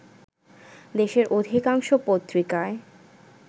দেশের অধিকাংশ পত্রিকায়